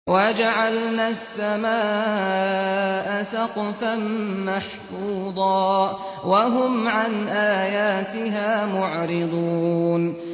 وَجَعَلْنَا السَّمَاءَ سَقْفًا مَّحْفُوظًا ۖ وَهُمْ عَنْ آيَاتِهَا مُعْرِضُونَ